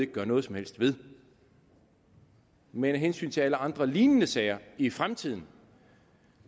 gøre noget som helst ved men af hensyn til alle andre lignende sager i fremtiden